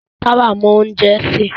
Táwà mọ oúnjẹ sè.